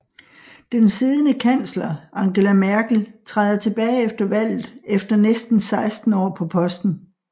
Den siddende kansler Angela Merkel træder tilbage efter valget efter næsten 16 år på posten